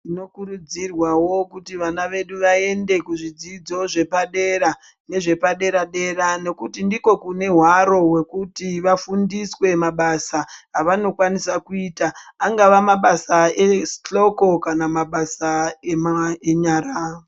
Tinokurudzirwawo kuti vana vedu vaende kuzvidzidzo zvepadera nezvepadera-dera nekuti ndiko kune hwaro hwekuti vafundiswe mabasa avanokwanisa kuita. Angava mabasa ehloko kana mabasa enyara.